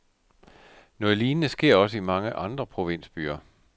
Noget lignende sker også i mange andre provinsbyer.